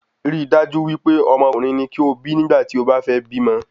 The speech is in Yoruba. Rí dájú wípé Ọmọkùnrin ni kí o bí nígbà tí o ba fẹ́ bímọ